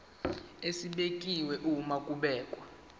esibekiwe uma kubhekwa